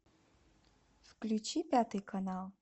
включи пятый канал